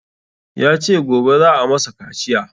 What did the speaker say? Ya ce gobe za a masa kaciya